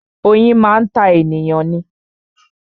Oyin máa ń ta ènìyàn ni